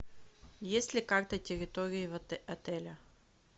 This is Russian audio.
есть ли карта территории отеля